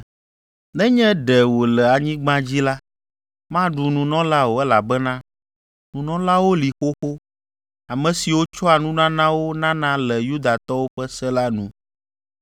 Nenye ɖe wòle anyigba dzi la, maɖu nunɔla o elabena nunɔlawo li xoxo, ame siwo tsɔa nunanawo nana le Yudatɔwo ƒe se la nu.